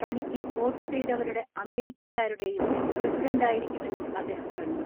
തനിക്ക് വോട്ട് ചെയ്തവരുടെ അമേരിക്കക്കാരുടേയും പ്രസിഡന്റായിരിക്കുമെന്നും അദ്ദേഹം പറഞ്ഞു.